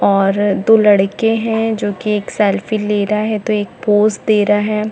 और दो लड़के है जो की एक सेल्फी ले रहा है तो एक पोज़ दे रहा है।